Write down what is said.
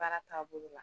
Baara taabolo la